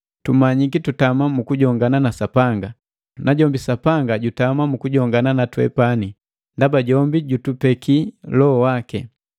Tumanyiki tutama mu kujongana na Sapanga, najombi Sapanga jutama mu kujongana na twepani ndaba jombi jutupeki Loho waki.